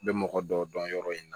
N bɛ mɔgɔ dɔw dɔn yɔrɔ in na